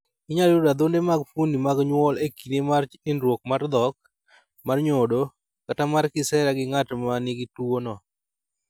Inyalo yudo adhonde mag fuondni mag nyuol e kinde mar nindruok mar dhok, mar nyodo, kata mar kisera gi ng'at ma nigi tuwono.